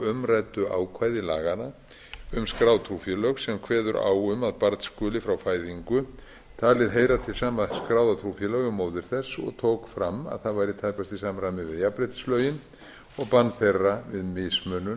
umræddu ákvæði laganna um skráð trúfélög sem kveður á um að barn skuli frá fæðingu talið heyra til sama skráða trúfélagi og móðir þess og tók fram að það væri tæpast í samræmi við jafnréttislögin og bann þeirra við mismunun